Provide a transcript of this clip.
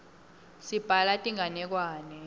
sibhala tinganekwane